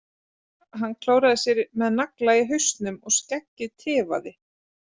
Hann klóraði sér með nagla í hausnum og skeggið tifaði.